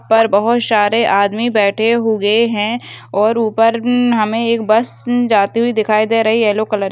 पर बहुत सारे आदमी बैठे हुए हैं और ऊपर उम हमें एक उम बस जाते हुए दिखाई दे रही है येल्लो कलर ।